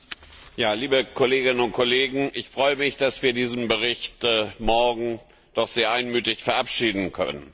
Herr Präsident, liebe Kolleginnen und Kollegen! Ich freue mich, dass wir diesen Bericht morgen doch sehr einmütig verabschieden können.